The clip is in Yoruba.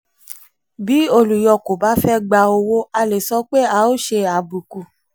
bí olùyọ kò bá fẹ gba fẹ gba owó a lè sọ pé ó ṣe àbùkù.